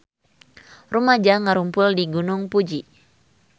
Rumaja ngarumpul di Gunung Fuji